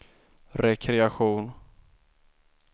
rekreation